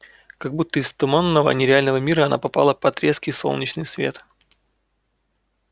как будто из туманного нереального мира она попала под резкий солнечный свет